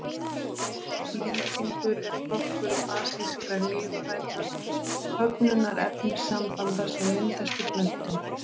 Lýtingur er flokkur basískra, lífrænna köfnunarefnissambanda sem myndast í plöntum.